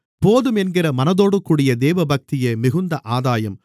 போதும் என்கிற மனதோடுகூடிய தேவபக்தியே மிகுந்த ஆதாயம்